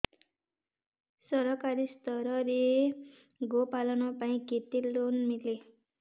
ସରକାରୀ ସ୍ତରରେ ଗୋ ପାଳନ ପାଇଁ କେତେ ଲୋନ୍ ମିଳେ